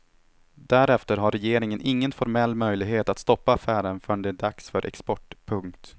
Därefter har regeringen ingen formell möjlighet att stoppa affären förrän det är dags för export. punkt